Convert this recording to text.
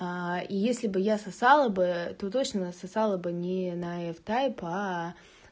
если бы я сосала бы то точно насосала бы не на эф тайп